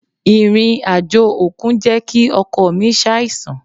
Ìrìn-àjò òkun jẹ́ kí ọkọ mi ṣàìsàn.